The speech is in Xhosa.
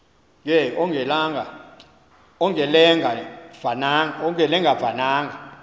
ke ongelenga vananga